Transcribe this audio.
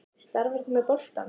Starfar þú með boltanum?